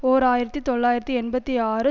ஓர் ஆயிரத்தி தொள்ளாயிரத்தி எண்பத்தி ஆறு